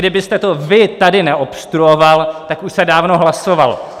Kdybyste to vy tady neobstruoval, tak už se dávno hlasovalo.